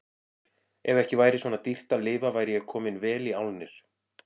Ef ekki væri svona dýrt að lifa væri ég kominn vel í álnir.